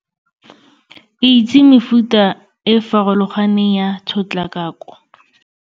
Itse mefuta e e farologaneng ya tshotlakako.